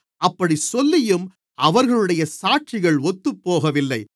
அப்படிச் சொல்லியும் அவர்களுடைய சாட்சிகள் ஒத்துபோகவில்லை